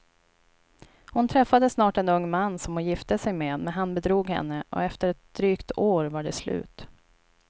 Hon träffade snart en ung man som hon gifte sig med, men han bedrog henne och efter ett drygt år var det slut.